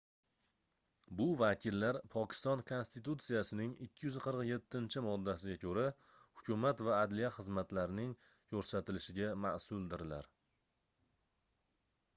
bu vakillar pokiston konstitutsiyasining 247-moddasiga koʻra hukumat va adliya xizmatlarning koʻrsatilishiga masʼuldirlar